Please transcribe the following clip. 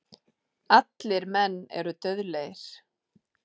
Allir menn eru dauðlegir.